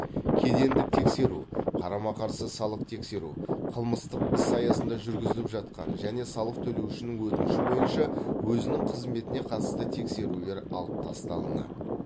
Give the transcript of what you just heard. кедендік тексеру қарама қарсы салық тексеру қылмыстық іс аясында жүргізіліп жатқан және салық төлеушінің өтініші бойынша өзінің қызметіне қатысты тексерулер алып тасталынады